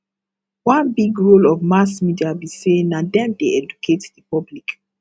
one big role of mass media be say na them dey educate the public